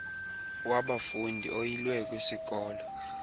wabafundi oyilwe kwisikolo